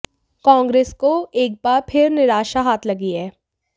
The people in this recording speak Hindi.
कांग्रेस को एक बार फिर निराशा हाथ लगी है